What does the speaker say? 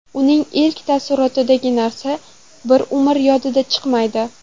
Uning ilk taassurotidagi narsa bir umr yodidan chiqmaydi.